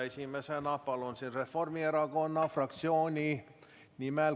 Esimesena palun kõnepulti Kaja Kallase Reformierakonna fraktsiooni nimel.